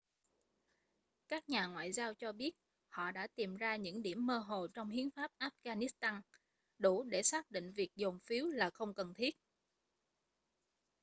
các nhà ngoại giao cho biết họ đã tìm ra những điểm mơ hồ trong hiến pháp afghanistan đủ để xác định việc dồn phiếu là không cần thiết